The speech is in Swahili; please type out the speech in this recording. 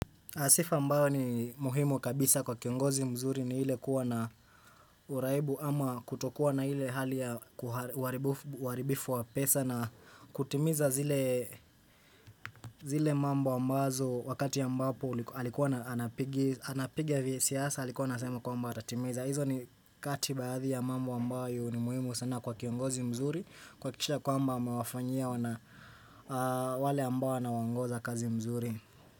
Sifa ambayo ni muhimu kabisa kwa kiongozi mzuri ni ile kuwa na uraibu ama kutokuwa na ile hali ya uharibifu wa pesa na kutimiza zile mambo ambazo wakati ambapo alikuwa ana anapiga visiasa alikuwa anasema kwamba atatimiza. Hizo ni kati baadhi ya mambo ambayo ni muhimu sana kwa kiongozi mzuri, kuhakikisha kwamba amewafanyia wale ambao anawaongoza kazi mzuri.